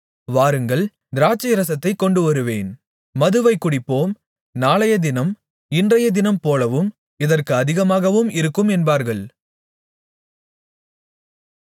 வாருங்கள் திராட்சைரசத்தைக் கொண்டுவருவேன் மதுவைக் குடிப்போம் நாளையத்தினம் இன்றையத்தினம்போலவும் இதற்கு அதிகமாகவும் இருக்கும் என்பார்கள்